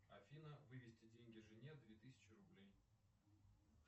афина вывести деньги жене две тысячи рублей